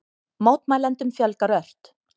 Mótmælendum fjölgar ört